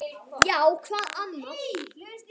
Já, hvað annað?